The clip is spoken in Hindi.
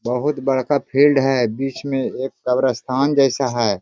बहुत बड़का फील्ड है बीच मे एक कब्रिस्तान जैसा है।